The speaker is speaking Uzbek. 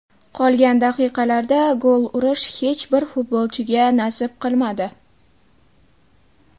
Qolgan daqiqalarda gol urish hech bir futbolchiga nasib qilmadi.